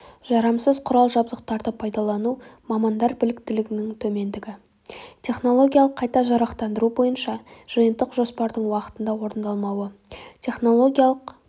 жарамсыз құрал-жабдықтарды пайдалану мамандар біліктілігінің төмендігі технологиялық қайта жарақтандыру бойынша жиынтық жоспардың уақытында орындалмауы технологиялық